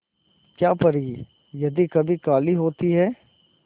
क्या परी यदि कभी काली होती है